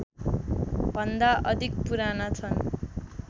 भन्दा अधिक पुराना छन्